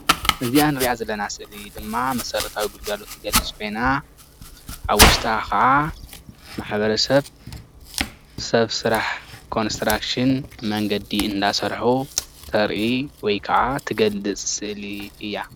እዚኣ እንሪኣ ዘለና ስእሊ ድማ መሰረታዊ ግልጋሎት እትገልፅ ኮይና ኣብ ውሽጣ ከዓ ማሕበረሰብ ሰብ ስራሕ ኮንስትራክሽን መንገዲ እናሰርሑ ተርኢ ወይ ከዓ እትገልፅ ስእሊ እያ፡፡